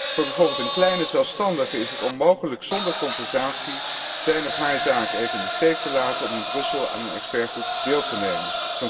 Voor bijvoorbeeld een kleine zelfstandige is het onmogelijk zonder compensatie zijn of haar zaken even in de steek te laten om in Brussel aan een deskundigengroep deel te nemen.